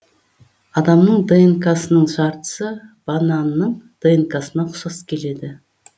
адамның днк сының жартысы бананның днк сына ұқсас келеді